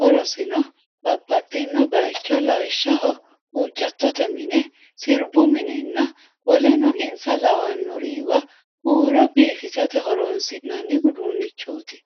horosino babbaxino bayicho lawishaho huucattote mine, sirbu minenna woleno insa lawanoriwa huuro biifissate horoonsi'nanni uduunichooti.